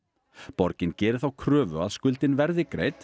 borgin geri þá kröfu að skuldin verði greidd